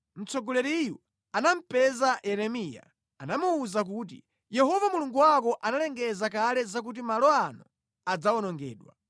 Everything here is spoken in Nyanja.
Mtsogoleriyu anamupeza Yeremiya, anamuwuza kuti, “Yehova Mulungu wako analengeza kale zakuti malo ano adzawonongedwa.